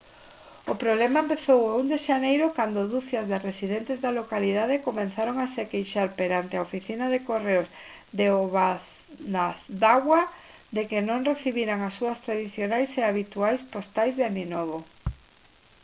o problema empezou o 1 de xaneiro cando ducias de residentes da localidade comezaron a se queixar perante a oficina de correos de obanazawa de que non recibiran as súas tradicionais e habituais postais de aninovo